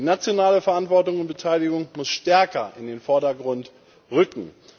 Die nationale Verantwortung und Beteiligung muss stärker in den Vordergrund rücken.